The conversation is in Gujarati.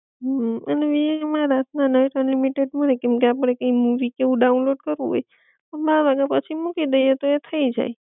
હમ અને વીઆઈ માં રાત ના નાઇટ અનલિમિટેડ મલે કેમકે આપડે કી મૂવી કે એવું ડાઉનલોડ કરવું હોય તો બાર વાગા પછી મૂકી દઈએ તો એ થઈ જાઇ